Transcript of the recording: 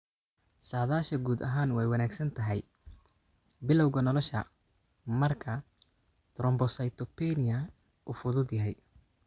Saadaasha guud ahaan way wanaagsan tahay bilawga nolosha marka thrombocytopenia uu fudud yahay.